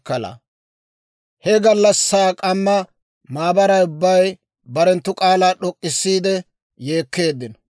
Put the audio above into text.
He gallassaa k'amma maabaray ubbay barenttu k'aalaa d'ok'k'issiide yeekkeeddino.